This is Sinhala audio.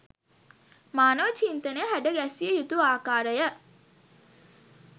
මානව චින්තනය හැඩ ගැස්විය යුතු ආකාරය